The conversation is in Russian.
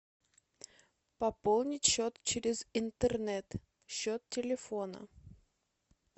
пополнить счет через интернет счет телефона